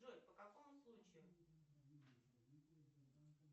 джой по какому случаю